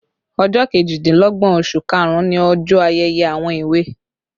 Ọjọ́ kejìdínlọ́gbọ̀n oṣù karùn-ún ni ọjọ ayẹyẹ àwọn èwe